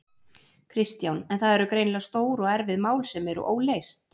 Kristján: En það eru greinilega stór og erfið mál sem eru óleyst?